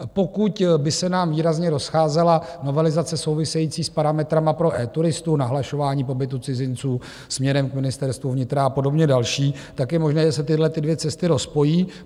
Pokud by se nám výrazně rozcházela novelizace související s parametry pro eTuristu, nahlašování pobytu cizinců směrem k Ministerstvu vnitra a podobně další, tak je možné, že se tyhlety dvě cesty rozpojí.